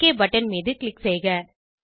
okay button மீது click செய்க